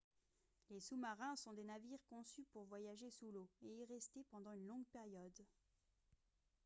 les sous-marins sont des navires conçus pour voyager sous l'eau et y rester pendant une longue période